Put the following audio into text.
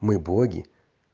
мы боги